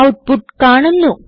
output കാണുന്നു